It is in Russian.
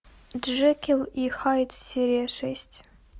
джекил и хайд серия шесть